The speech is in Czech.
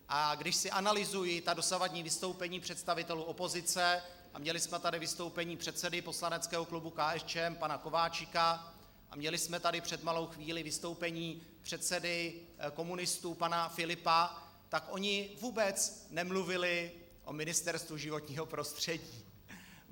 A když si analyzuji ta dosavadní vystoupení představitelů opozice, a měli jsme tady vystoupení předsedy poslaneckého klubu KSČM pana Kováčika a měli jsme tady před malou chvílí vystoupení předsedy komunistů pana Filipa, tak oni vůbec nemluvili o Ministerstvu životního prostředí.